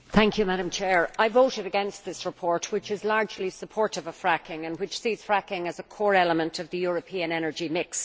Madam President, I voted against this report. It is largely supportive of fracking and sees fracking as a core element of the European energy mix.